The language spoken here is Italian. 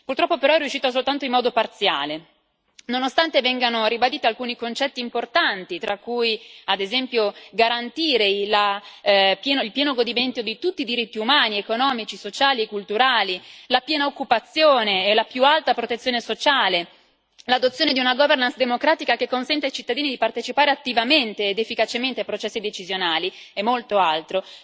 Purtroppo però è riuscito soltanto in modo parziale, nonostante vengano ribaditi alcuni concetti importanti, tra cui ad esempio garantire il pieno godimento di tutti i diritti umani, economici, sociali e culturali, la piena occupazione e la più alta protezione sociale, l'adozione di una governance democratica che consenta ai cittadini di partecipare attivamente ed efficacemente ai processi decisionali, e molto altro.